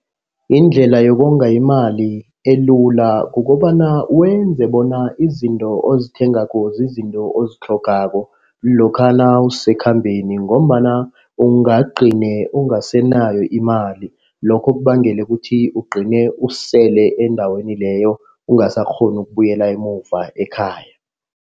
Yindlela yokonga imali elula kukobana wenze bona izinto ozithengako zizinto ozitlhogako. Lokha nawusekhambeni ngombana wena ungagcine ungasanayo imali. Lokho kubangela ukuthi ugcine usele endaweni leyo ungasakghoni ukubuyela emuva ekhaya.